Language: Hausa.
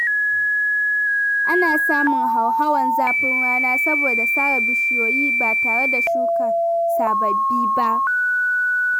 Ana samun hauhawar zafin rana saboda sare bishiyoyi ba tare da shuka sababbi ba.